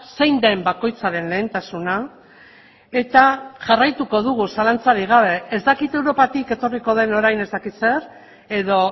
zein den bakoitzaren lehentasuna eta jarraituko dugu zalantzarik gabe ez dakit europatik etorriko den orain ez dakit zer edo